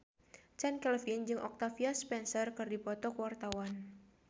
Chand Kelvin jeung Octavia Spencer keur dipoto ku wartawan